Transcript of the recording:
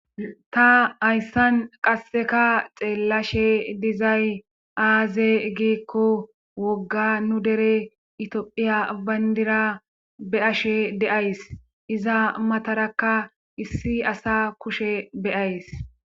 ta hayssan qasseka xeellashe dizay aaze giikko wogga nu dere itophiya bayndira be7ashe deays iza matarakka issi asa kushe beyays